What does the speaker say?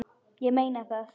Ég meina það!